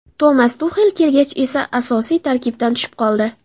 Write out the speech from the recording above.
Tomas Tuxel kelgach esa asosiy tarkibdan tushib qoldi.